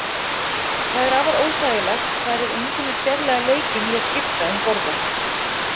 Það er afar óþægilegt þar eð enginn er sérlega leikinn í að skipta um borða.